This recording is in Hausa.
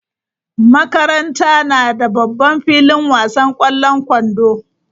Makaranta na da babban filin wasan kwallon kwando.